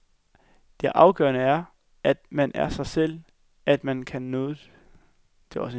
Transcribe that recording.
Det afgørende er, at man er sig selv, at man kan noget.